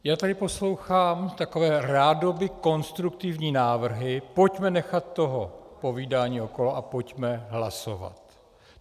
Já tady poslouchám takové rádoby konstruktivní návrhy: pojďme nechat toho povídání okolo a pojďme hlasovat.